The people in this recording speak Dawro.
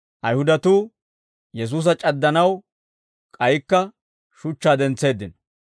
Ayihudatuu Yesuusa c'addanaw k'aykka shuchchaa dentseeddino.